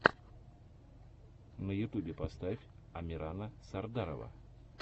на ютубе поставь амирана сардарова